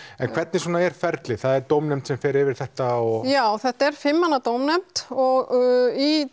en hvernig svona er ferlið er dómnefnd sem fer yfir þetta já þetta já fimm manna dómnefnd og í